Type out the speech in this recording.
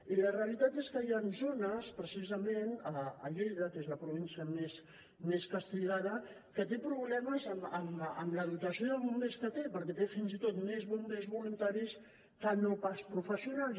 i la realitat és que hi han zones precisament a lleida que és la província més castigada que tenen problemes amb la dotació de bombers que tenen perquè tenen fins i tot més bombers voluntaris que no pas professionals